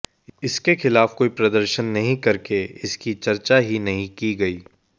इसके खिलाफ कोई प्रदर्शन नहीं करके इसकी चर्चा ही नहीं की गई